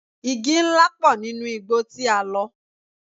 Igi ńlá pọ̀ nínú igbó tí a lọ.